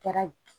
Kɛra